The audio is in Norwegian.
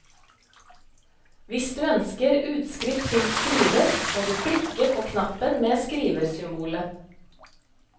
Hvis du ønsker utskrift til skriver, må du klikke på knappen med skriversymbolet.